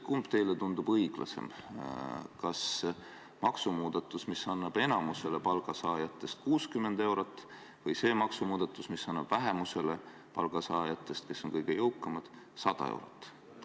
Kumb teile tundub õiglasem, kas maksumuudatus, mis annab enamusele palgasaajatest 60 eurot, või see maksumuudatus, mis annab vähemusele palgasaajatest, kes on kõige jõukamad, 100 eurot?